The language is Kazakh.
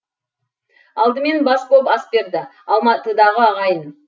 алдымен бас боп ас берді алматыдағы ағайын